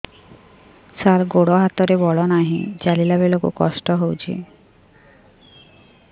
ସାର ଗୋଡୋ ହାତରେ ବଳ ନାହିଁ ଚାଲିଲା ବେଳକୁ କଷ୍ଟ ହେଉଛି